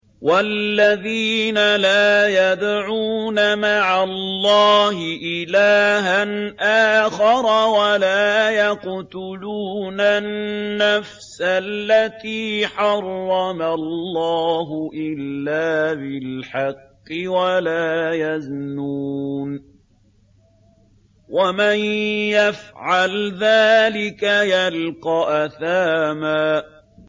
وَالَّذِينَ لَا يَدْعُونَ مَعَ اللَّهِ إِلَٰهًا آخَرَ وَلَا يَقْتُلُونَ النَّفْسَ الَّتِي حَرَّمَ اللَّهُ إِلَّا بِالْحَقِّ وَلَا يَزْنُونَ ۚ وَمَن يَفْعَلْ ذَٰلِكَ يَلْقَ أَثَامًا